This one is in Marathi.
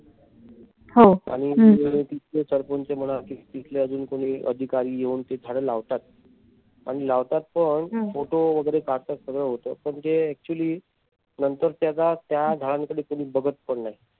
ते तिथले सरपंच म्हणा तिथले कोणी अधिकारी येवून ती झाडं लावतात आणि लावतात पण photo वगैरे काढतात सगळ होत पण ते actually नंतर त्याचा त्या झाडांकडे कोणी बघत पण नाही.